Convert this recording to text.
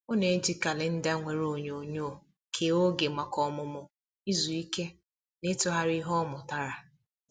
Ọ na-eji kalenda nwere onyonyo kee oge maka ọmụmụ, izu ike, na ịtụgharị ihe ọ mụtara.